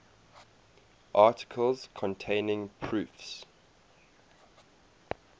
articles containing proofs